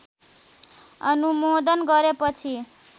अनुमोदन गरेपछि